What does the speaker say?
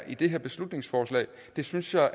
i det her beslutningsforslag synes jeg